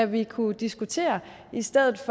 ville kunne diskutere i stedet